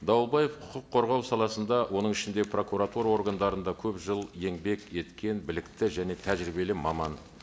дауылбаев құқық қорғау саласында оның ішінде прокуратура органдарында көп жыл еңбек еткен білікті және тәжірибелі маман